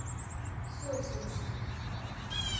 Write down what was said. сосенский